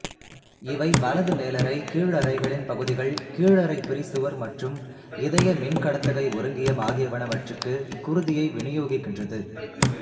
இவை வலது மேலறை கீழறைகளின் பகுதிகள் கீழறைப் பிரிசுவர் மற்றும் இதய மின்கடத்துகை ஒருங்கியம் ஆகியனவற்றுக்கு குருதியை விநியோகிக்கின்றது